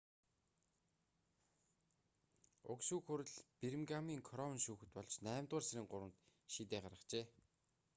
уг шүүх хурал бирмингамын кроун шүүхэд болж наймдугаар сарын 3-нд шийдээ гаргажээ